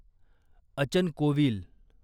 अचन कोविल